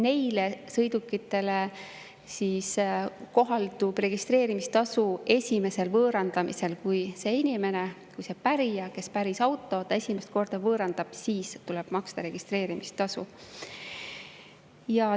Neile sõidukitele kohaldub registreerimistasu esimesel võõrandamisel: kui see inimene, see pärija, kes päris auto, selle esimest korda võõrandab, siis tuleb maksta registreerimistasu.